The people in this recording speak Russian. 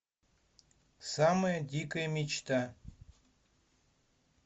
самая дикая мечта